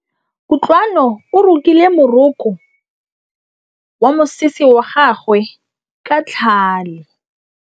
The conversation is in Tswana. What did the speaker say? Kutlwanô o rokile morokô wa mosese wa gagwe ka tlhale.